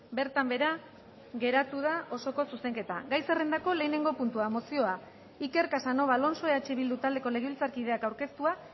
bertan behera geratu da osoko zuzenketa gai zerrendako lehenengo puntua mozioa iker casanova alonso eh bildu taldeko legebiltzarkideak aurkeztua